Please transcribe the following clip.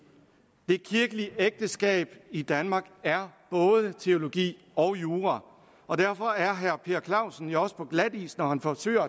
det kirkelige ægteskab i danmark er både teologi og jura og derfor er herre per clausen jo også på glatis når han forsøger